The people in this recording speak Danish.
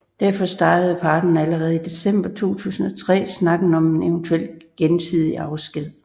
Derfor startede parterne allerede i december 2003 snakken om en eventuel gensidig afsked